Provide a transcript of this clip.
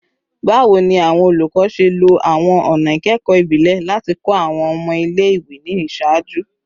Bawo ni awọn olukọ ṣe lo awọn ọna ikẹkọ ibile lati kọ awọn ọmọ ile-iwe ni iṣaaju?